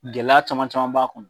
Gɛlɛya caman caman b'a kɔnɔ